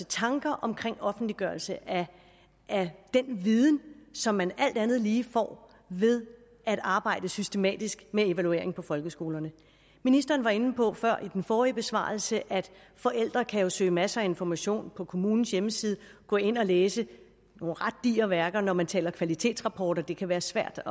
tanker om offentliggørelse af den viden som man alt andet lige får ved at arbejde systematisk med evaluering på folkeskolerne ministeren var inde på før i den forrige besvarelse at forældre jo kan søge masser af information på kommunens hjemmeside gå ind og læse nogle ret digre værker når man taler om kvalitetsrapporter det kan være svært